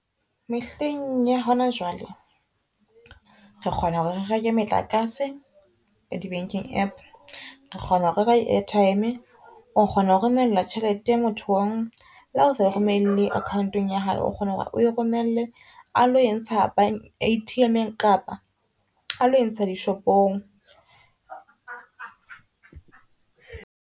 Mehleng ya hona jwale re kgona hore reke metlakase di banking app, re kgona ho reka airtime. O kgona ho romella tjhelete mothong le ha o sa e romelle account-ong ya hae, o kgona hore o e romelle a lo entsha A_T_M-ng kapa a lo entsha dishopong.